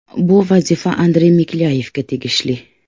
Bu vazifa Andrey Miklyayevga tegishli.